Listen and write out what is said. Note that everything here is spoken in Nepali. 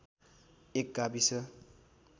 एक गाविस